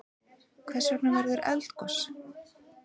Hvers vegna verður eldgos?